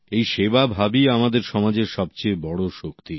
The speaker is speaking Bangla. এই সেবাভাবই আমাদের সমাজের সবচেয়ে বড় শক্তি